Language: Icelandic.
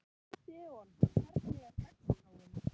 Gídeon, hvernig er dagskráin?